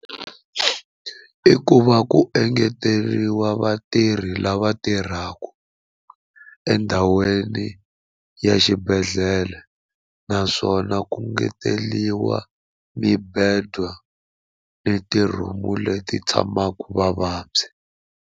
I ku va ku engeteriwa vatirhi lava tirhaka endhawini ya xibedhlele naswona ku ngeteriwa mibedwa ni ti-room leti tshamaka vavabyi.